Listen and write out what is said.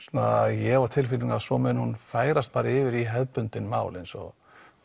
ég hef á tilfinningunni að svo muni hún færast yfir í hefðbundin mál eins og